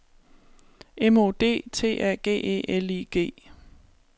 M O D T A G E L I G